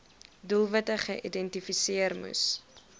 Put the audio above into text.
doelwitte geïdentifiseer moes